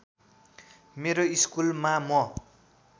मेरो स्कुलमा म